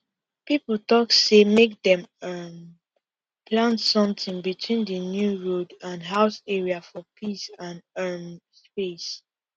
people talk say make dem um plant something between the new road and house area for peace and um space